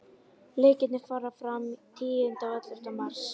Leikirnir fara fram tíunda og ellefta mars.